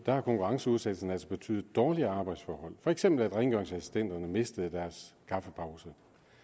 har konkurrenceudsættelsen altså betydet dårligere arbejdsforhold for eksempel at rengøringsassistenterne mistede deres kaffepause